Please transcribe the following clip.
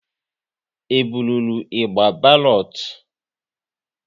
E burụrụ ịgba balotu?